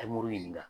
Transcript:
ɲininka